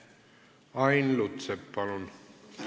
Ain Lutsepp, palun!